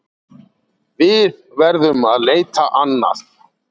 Við verðum að leita annað.